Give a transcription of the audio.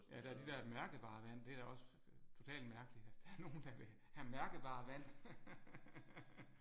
Ja der er de der mærkevarevand det er da også totalt mærkeligt at der er nogle der vil have mærkevarevand